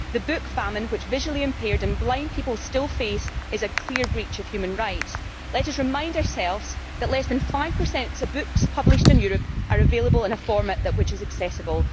The book famine, which visually impaired and blind people still face, is a clear breach of human rights. Let us remind ourselves that less than 5 of the books published in Europe are available in a format that is accessible.